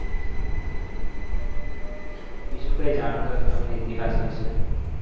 બીજું કંઈ જાણતા હોય તમે ઇતિહાસ વિશે.